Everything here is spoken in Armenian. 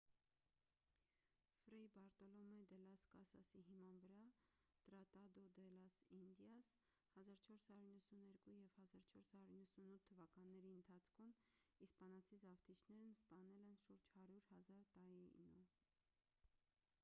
ֆրեյ բարտոլոմե դե լաս կասասի հիման վրա տրատադո դե լաս ինդիաս՝ 1492 և 1498 թվականների ընթացքում իսպանացի զավթիչներն սպանել են շուրջ 100,000 տաինո: